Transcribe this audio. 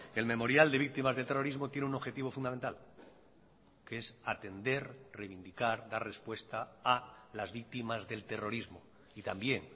el memorial de víctimas del terrorismo tiene un objetivo fundamental que es atender reivindicar dar respuesta a las víctimas del terrorismo y también